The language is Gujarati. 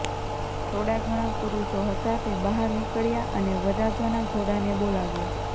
થોડા ઘણા પુરુષો હતા તે બહાર નીકળ્યા અને વરરાજાના ઘોડાને બોલાવ્યો